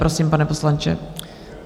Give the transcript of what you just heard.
Prosím, pane poslanče.